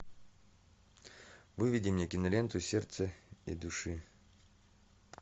выведи мне киноленту сердце и души